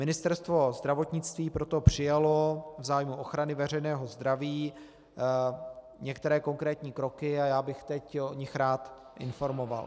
Ministerstvo zdravotnictví proto přijalo v zájmu ochrany veřejného zdraví některé konkrétní kroky a já bych teď o nich rád informoval.